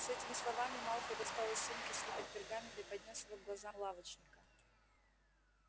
с этими словами малфой достал из сумки свиток пергамента и поднёс его к глазам лавочника